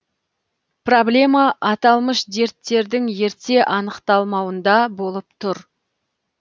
проблема аталмыш дерттердің ерте анықталмауында болып тұр